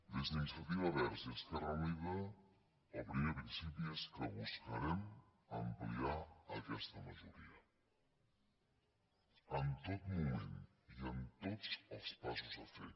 des d’iniciativa verds i esquerra unida el primer principi és que buscarem ampliar aquesta majoria en tot moment i en tots els passos a fer